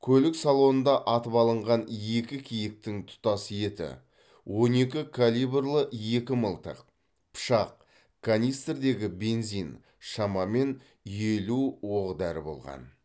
көлік салонында атып алынған екі киіктің тұтас еті он екі калибрлі екі мылтық пышақ канистрдегі бензин шамамен елу оқ дәрі болған